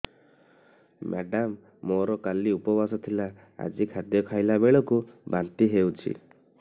madam ମୋର କାଲି ଉପବାସ ଥିଲା ଆଜି ଖାଦ୍ୟ ଖାଇଲା ବେଳକୁ ବାନ୍ତି ହେଊଛି